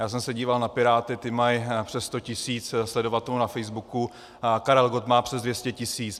Já jsem se díval na Piráty, ti mají přes 100 tisíc sledovatelů na Facebooku, Karel Gott má přes 200 tisíc.